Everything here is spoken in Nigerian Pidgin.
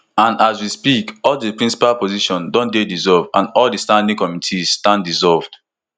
and as we speak all di principal positions don dey dissolved and all standing committees stand dissolved